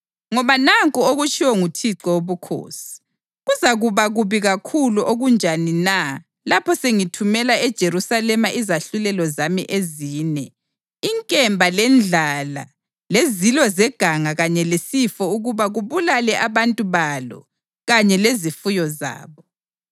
Ngoba nanku okutshiwo nguThixo Wobukhosi: Kuzakuba kubi kakhulu okunjani na lapho sengithumela eJerusalema izahlulelo zami ezine, inkemba lendlala lezilo zeganga kanye lesifo ukuba kubulale abantu balo kanye lezifuyo zabo!